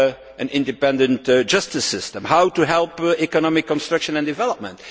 an independent justice system and how to help economic construction and development.